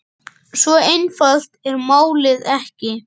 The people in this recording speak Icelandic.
Svo einfalt er málið ekki.